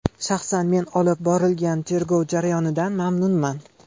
Shaxsan men olib borilgan tergov jarayonidan mamnunman.